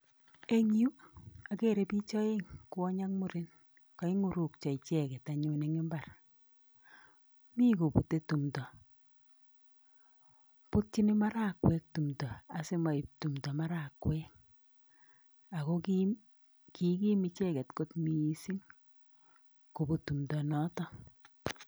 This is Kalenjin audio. En yu agere biich oeng' kwony ak muren kaing'urukyo icheket anyun en imbaar. Mi kobute tumdo ,butyin marakwek tumdo asimoib marakwet tumdo ako kikim icheket missing kobut timdo notok